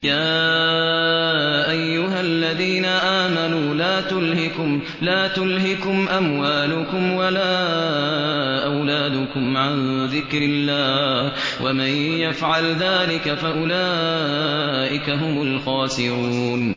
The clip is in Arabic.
يَا أَيُّهَا الَّذِينَ آمَنُوا لَا تُلْهِكُمْ أَمْوَالُكُمْ وَلَا أَوْلَادُكُمْ عَن ذِكْرِ اللَّهِ ۚ وَمَن يَفْعَلْ ذَٰلِكَ فَأُولَٰئِكَ هُمُ الْخَاسِرُونَ